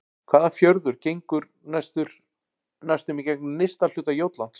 Hvaða fjörður gengur næstum í gegnum nyrsta hluta Jótlands?